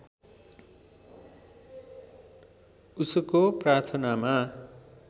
उसको प्रार्थनामा